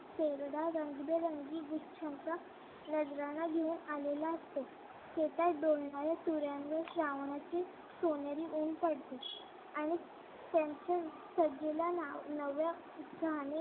रंगेबिरंगी गुच्छांचा नजराणा घेऊन आलेला असतो हे काय डौलणाऱ्या तुऱ्यांवर श्रावणाचे सोनेरी ऊन पडते आणि त्यांच्या नव्या